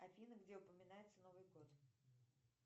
афина где упоминается новый год